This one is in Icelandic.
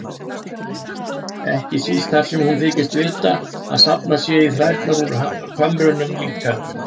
Ekki síst þar sem hún þykist vita að safnað sé í þrærnar úr kömrunum líka.